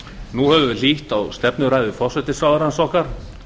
nú höfum við hlýtt á stefnuræðu forsætisráðherrans okkar